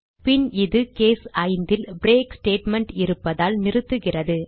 பின் இது கேஸ் 5 ல் break statement இருப்பதால் நிறுத்துகிறது